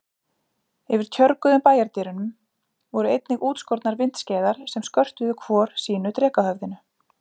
Yfir tjörguðum bæjardyrunum voru einnig útskornar vindskeiðar sem skörtuðu hvor sínu drekahöfðinu.